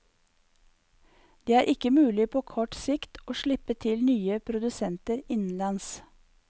Det er ikke mulig på kort sikt å slippe til nye produsenter innenlands.